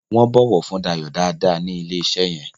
wón bó ọwọ fún Dayo dá dá ni ilẹ iṣé yén